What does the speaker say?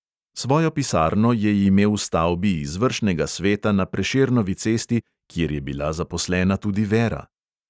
Svojo pisarno je imel v stavbi izvršnega sveta na prešernovi cesti, kjer je bila zaposlena tudi vera.